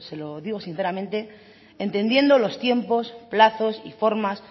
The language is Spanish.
lo digo sinceramente entendiendo los tiempos plazos y formas